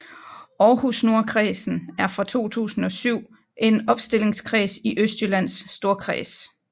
Aarhus Nordkredsen er fra 2007 en opstillingskreds i Østjyllands Storkreds